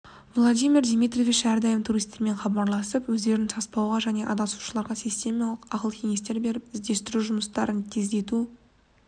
владимир дмитриевич әрдайым туристермен хабарласып өздерін саспауға және адасушыларға систематикалық ақыл кеңестер беріп іздестіру жұмыстарын тездету